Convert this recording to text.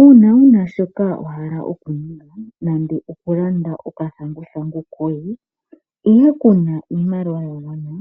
Uuna wuna shoka wahala okuninga nande okulanda okathanguthangu koye ihe kuna iimaliwa yagwana ,